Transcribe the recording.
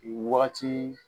Wagati